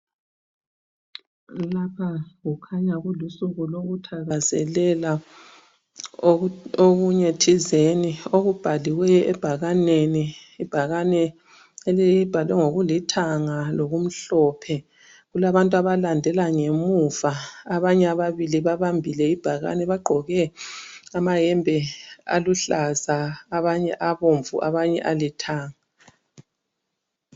Lapha kukhanya kulusuku lokuthakazelela okunye thizeni okubhaliweyo ebhakaneni , ibhakane libhalwe ngokulithanga lokumhlophe , kulabantu abalandela ngemuva abanye ababili babambile ibhakane bagqoke amayembe aluhlaza abanye abomvu abanye alithanga